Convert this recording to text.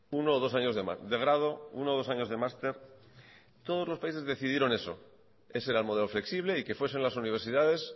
uno ó dos años de grado uno o dos años de máster todos los países decidieron eso ese era el modelo flexible y que fuesen las universidades